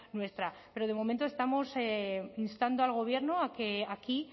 nuestra pero de momento estamos instando al gobierno a que aquí